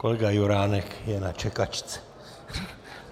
Kolega Juránek je na čekačce.